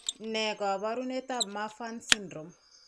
Ne kaabarunetap Marfan syndrome?